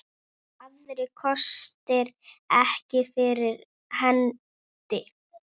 Aðrir kostir ekki fyrir hendi.